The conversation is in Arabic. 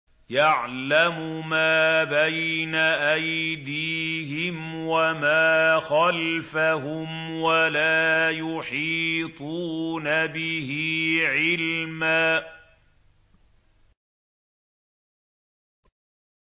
يَعْلَمُ مَا بَيْنَ أَيْدِيهِمْ وَمَا خَلْفَهُمْ وَلَا يُحِيطُونَ بِهِ عِلْمًا